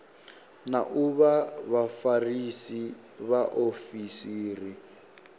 na u vha vhafarisa vhaofisiri